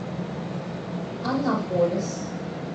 анаполис